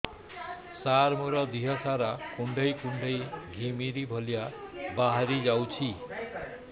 ସାର ମୋର ଦିହ ସାରା କୁଣ୍ଡେଇ କୁଣ୍ଡେଇ ଘିମିରି ଭଳିଆ ବାହାରି ଯାଉଛି